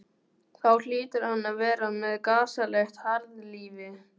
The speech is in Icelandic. Þá hlýtur hann að vera með gasalegt harðlífi.